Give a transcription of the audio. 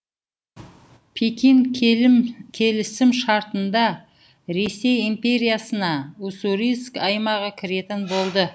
пекин келісім шартында ресей империясына уссурийск аймағы кіретін болды